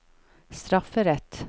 strafferett